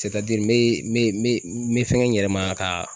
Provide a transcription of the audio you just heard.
n be n be n be n be fɛŋɛ n yɛrɛ ma ka